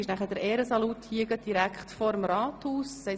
Um 14.45 Uhr findet der Ehrensalut direkt vor dem Rathaus statt.